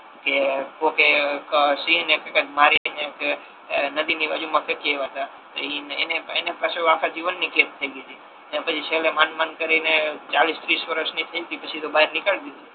કે કોકે સિંહ ને કઈક મારી ને કે કઈક નદી ની બાજુ મા ફેંકી આવ્યા હતા તો ઈ એને પાછુ આખા જીવન ની કેદ થઈ ગઈ હતી અને પછી છેલ્લે માંડ માંડ કરીને ચાલીસ ત્રીસ વર્ષ ની થઈ તી પછી તો બાર નિકાળી દીધી